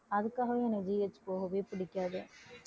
அதுக்காகவே எனக்கு GH போகவே பிடிக்காது